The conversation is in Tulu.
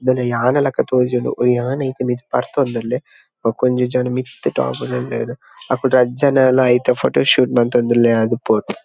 ಆಣಲೆಕ ತೋಜುಂಡು ಈ ಆಣ್ ಮಿತ್ತ್ ಬರ್ತೊಂದುಲ್ಲೆ ಬೊಕೊಂಜಿ ಜನ ಮಿತ್ತ್ ಟಾಪ್ ಡ್ ಉಲ್ಲೆರ್ ಅಕುಲು ರಡ್ಡ್ ಜನಲ ಐತ ಫೋಟೊ ಶೂಟ್ ಮಂತೊಂದುಲ್ಲೆರ್ ಆದಿಪ್ಪೊಡು.